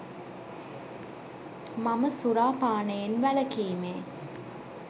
මම සුරාපානයෙන් වැළකීමේ